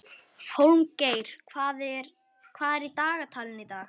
Hólmgeir, hvað er í dagatalinu í dag?